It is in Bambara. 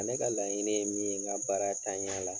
Ne ka laɲini ye min ye n ka baara ntanya la